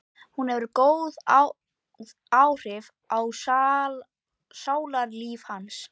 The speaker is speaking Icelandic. Hún hefur góð áhrif á sálarlíf hans.